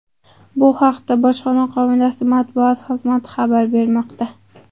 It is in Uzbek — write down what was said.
Bu haqda bojxona qo‘mitasi matbuot xizmati xabar bermoqda.